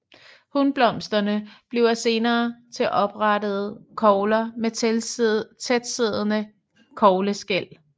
Hunblomsterne bliver senere til oprette kogler med tæt tilsiddende kogleskæl